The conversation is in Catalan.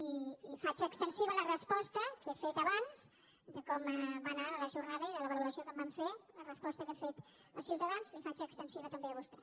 i faig extensiva la resposta que he fet abans de com va anar la jornada i de la valoració que en vam fer la resposta que he fet a ciutadans la hi faig extensiva també a vostè